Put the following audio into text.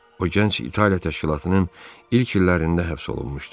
O gənc İtaliya təşkilatının ilk illərində həbs olunmuşdu.